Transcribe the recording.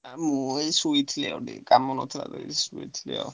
ଆ ମୁଁ ଏଇ ସୋଇଥିଲି ଆଉ ଟିକେ କାମ ନଥିଲା ତ ଏଇ ସୋଇଛି ଆଉ।